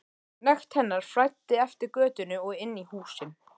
Nekt hennar flæddi eftir götunum og inn í húsin.